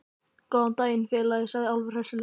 Góðan daginn, félagi, sagði Álfur hressilega.